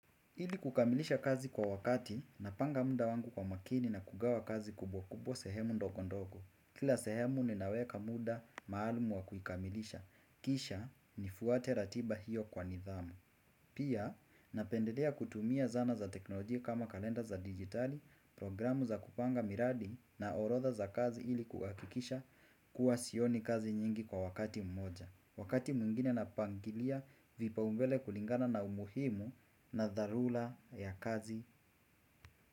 Ili kukamilisha kazi kwa wakati napanga muda wangu kwa makini na kugawa kazi kubwa kubwa sehemu ndogo ndogo. Kila sehemu ninaweka muda maalumu wa kukamilisha. Kisha ni fuwate ratiba hiyo kwa nidhamu. Pia napendelea kutumia zana za teknolojia kama kalenda za digitali, programu za kupanga miradi na orodha za kazi ili kukakikisha kuwa sioni kazi nyingi kwa wakati mmoja. Wakati mwingine napangilia vipaumbele kulingana na umuhimu na dharura ya kazi.